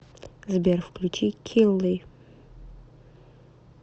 сбер включи килли